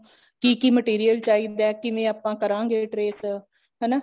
ਕੀ ਕੀ material ਚਾਹੀਦਾ ਕਿਵੇਂ ਆਪਾਂ ਕਰਾਂਗੇ trace ਹਨਾ